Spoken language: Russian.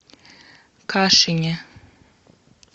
кашине